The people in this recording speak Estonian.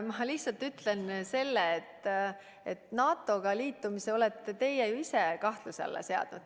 Ma lihtsalt ütlen, et NATO-ga liitumise olete ju teie ise kahtluse alla seadnud.